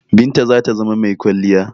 Binta zata zama mai kwalliya.